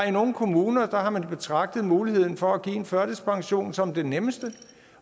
i nogle kommuner har betragtet muligheden for at give en førtidspension som det nemmeste